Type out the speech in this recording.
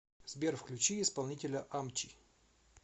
сбер включи исполнителя амчи